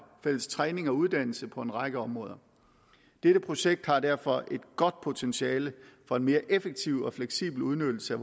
fælles træning og uddannelse på en række områder dette projekt har derfor et godt potentiale for en mere effektiv og fleksibel udnyttelse af